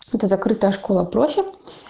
это закрытая школа профи